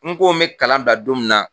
N' ko me kalan bila don min na.